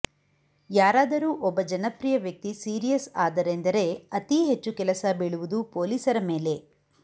ಯಾರಾದರೂ ಒಬ್ಬ ಜನಪ್ರಿಯ ವ್ಯಕ್ತಿ ಸೀರಿಯಸ್ ಆದರೆಂದರೆ ಅತೀ ಹೆಚ್ಚು ಕೆಲಸ ಬೀಳುವುದು ಪೊಲೀಸರ ಮೇಲೆ